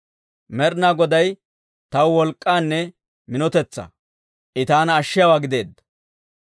Med'inaa Goday taw wolk'k'anne minotetsaa; I taana ashshiyaawaa gideedda.